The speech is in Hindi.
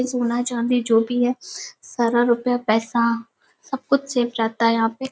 सोना चांदी जो भी है। सारा रूपया पैसा सब कुछ सेफ रहता है यहां पे।